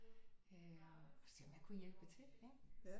Øh og se om jeg kunne hjælpe til